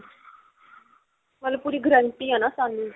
ਮਤਲਬ ਪੂਰੀ guarantee ਆ ਨਾ ਸਾਨੂੰ